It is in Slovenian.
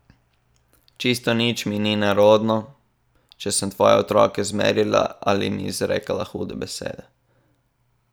Čisto nič mi ni nerodno, če sem te svoje otroke zmerjala ali jim izrekala hude besede.